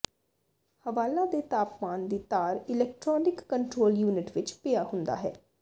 ਹਵਾਲਾ ਦੇ ਤਾਪਮਾਨ ਦੀ ਤਾਰ ਇਲੈਕਟ੍ਰਾਨਿਕ ਕੰਟਰੋਲ ਯੂਨਿਟ ਵਿਚ ਪਿਆ ਹੁੰਦਾ ਹੈ